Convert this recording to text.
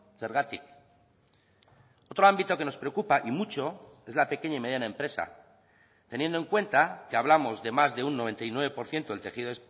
zergatik otro ámbito que nos preocupa y mucho es la pequeña y mediana empresa teniendo en cuenta que hablamos de más de un noventa y nueve por ciento del tejido